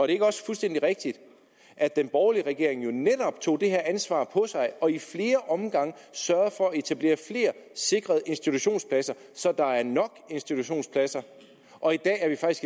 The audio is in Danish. det ikke også fuldstændig rigtigt at den borgerlige regering netop tog det her ansvar på sig og i flere omgange sørgede for at etablere flere sikrede institutionspladser så der er nok institutionspladser og i dag